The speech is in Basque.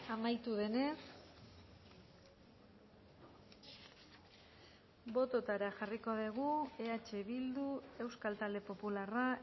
amaitu denez bototara jarriko dugu eh bildu euskal talde popularra